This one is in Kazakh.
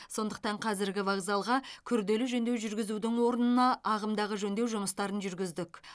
сондықтан қазіргі вокзалға күрделі жөндеу жүргізудің орнына ағымдағы жөндеу жұмыстарын жүргіздік